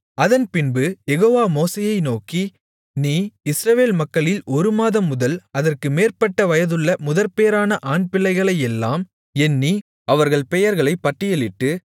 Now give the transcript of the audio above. அதன் பின்பு யெகோவா மோசேயை நோக்கி நீ இஸ்ரவேல் மக்களில் ஒரு மாதம் முதல் அதற்கு மேற்பட்ட வயதுள்ள முதற்பேறான ஆண்பிள்ளைகளையெல்லாம் எண்ணி அவர்கள் பெயர்களை பட்டியலிட்டு